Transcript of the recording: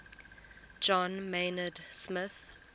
john maynard smith